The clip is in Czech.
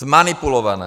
Zmanipulované!